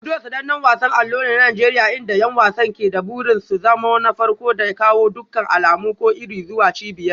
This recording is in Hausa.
Ludo sanannen wasan allo ne a Najeriya inda 'yan wasan ke da burin su zama na farko da ya kawo dukkan alamu ko iri zuwa cibiyar.